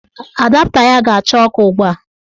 Adapta ya ga-acha ọkụ ugbua.